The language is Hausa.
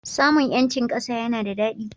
Samun 'yancin ƙasa yana da daɗi.